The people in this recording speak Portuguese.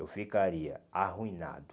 Eu ficaria arruinado.